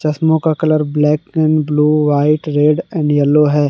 चश्मों का colour black and blue white red and yellow है।